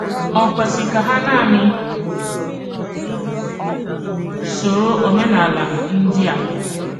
È kwesị̀ ka hà nanị sòrò òménálà ndị à?